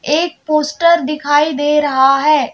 एक पोस्टर दिखाई दे रहा है।